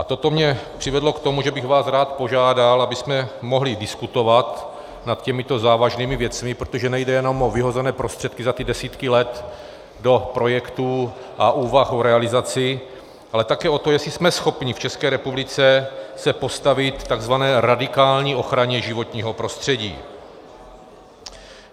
A toto mě přivedlo k tomu, že bych vás rád požádal, abychom mohli diskutovat nad těmito závažnými věcmi, protože nejde jenom o vyhozené prostředky za ty desítky let do projektů a úvah o realizaci, ale také o to, jestli jsme schopni v České republice se postavit tzv. radikální ochraně životního prostředí.